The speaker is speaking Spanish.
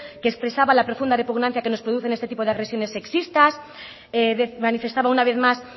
que expresaba la profunda repugnancia que nos producen este tipo de agresiones sexistas manifestaba una vez más